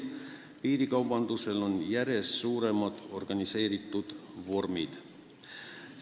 Ka on piirikaubandus omandamas järjest suuremaid ja organiseeritumaid vorme.